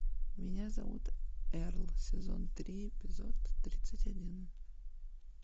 меня зовут эрл сезон три эпизод тридцать один